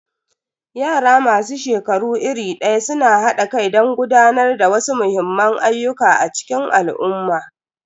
Yara masu shekaru iri daya suna hada kai don gudanar da wasu muhimman ayyuka a cikin al'umma.